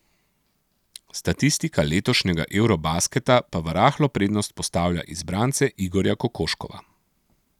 Statistika letošnjega eurobasketa pa v rahlo prednost postavlja izbrance Igorja Kokoškova.